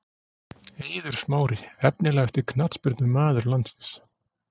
Eiður Smári Efnilegasti knattspyrnumaður landsins?